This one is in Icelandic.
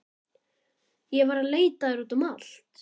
Ég var að leita að þér út um allt.